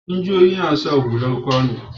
Injiniyoyi na sa hular gini.